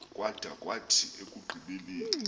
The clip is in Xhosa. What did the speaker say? kwada kwathi ekugqibeleni